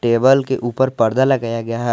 Table के ऊपर पर्दा लगाया गया है।